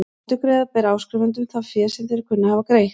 Endurgreiða ber áskrifendum það fé sem þeir kunna að hafa greitt.